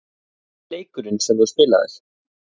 Hver er fyrsti leikurinn sem þú spilaðir?